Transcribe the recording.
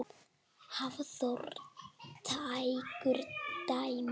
Hafþór tekur dæmi.